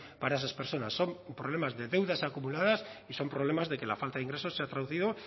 para esas personas son problemas de deudas acumuladas son problemas de que la falta de ingresos se ha traducido